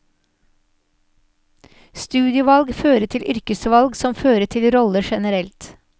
Studievalg fører til yrkesvalg som fører til roller generelt.